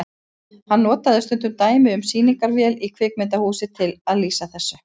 Hann notaði stundum dæmi um sýningarvél í kvikmyndahúsi til að lýsa þessu.